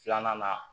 Filanan na